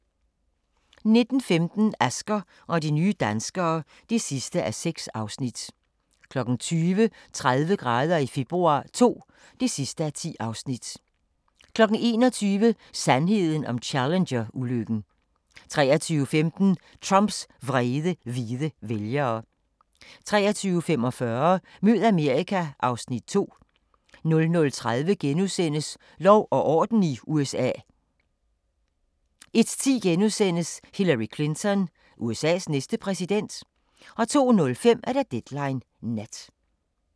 19:15: Asger og de nye danskere (6:6) 20:00: 30 grader i februar II (10:10) 21:00: Sandheden om Challenger-ulykken 23:15: Trumps vrede hvide vælgere 23:45: Mød Amerika (Afs. 2) 00:30: Lov og orden i USA * 01:10: Hillary Clinton – USA's næste præsident? * 02:05: Deadline Nat